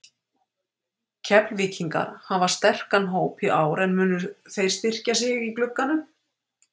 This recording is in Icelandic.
Keflvíkingar hafa sterkan hóp í ár en munu þeir styrkja sig í glugganum?